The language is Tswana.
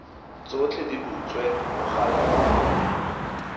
tsotlhe di butswe mogala wa